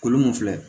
Kolon mun filɛ